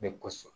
Ne gosi